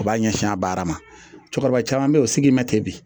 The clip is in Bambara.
U b'a ɲɛsin a baara ma cɛkɔrɔba caman bɛ yen o sigi ma ten bi